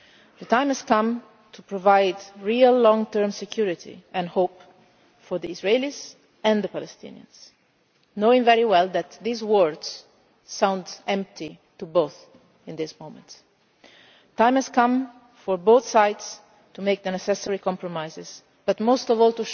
opened. The time has come to provide real long term security and hope for the Israelis and the Palestinians knowing full well that these words sound empty to both at this moment. The time has come for both sides to make the necessary compromises and,